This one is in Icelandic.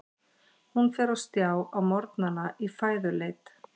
Hún fer á stjá á morgnana í fæðuleit.